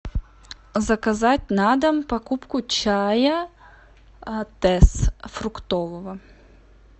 заказать на дом покупку чая тесс фруктового